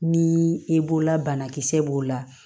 Ni i b'o la banakisɛ b'o la